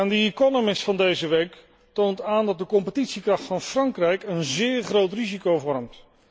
The Economist van deze week toont aan dat de competitiekracht van Frankrijk een zeer groot risico vormt.